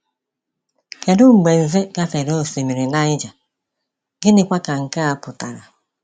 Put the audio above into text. Kedu mgbe Nze gafere Osimiri Niger, gịnịkwa ka nke a pụtara?